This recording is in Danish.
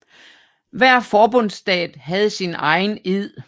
Hver forbundsstat havde sin egen ed